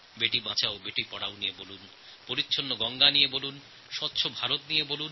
বেটি Bachao Beti Padhao clean Ganga স্বচ্ছ ভারত সম্পর্কে বলুন